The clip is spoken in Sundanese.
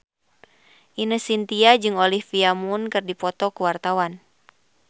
Ine Shintya jeung Olivia Munn keur dipoto ku wartawan